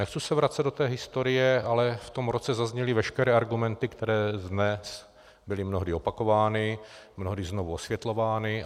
Nechci se vracet do té historie, ale v tom roce zazněly veškeré argumenty, které dnes byly mnohdy opakovány, mnohdy znovu osvětlovány.